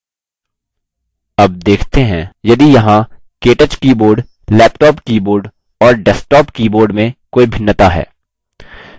अब देखते हैं यदि यहाँ केटच keyboard laptop keyboard और desktop keyboard में कोई भिन्नता है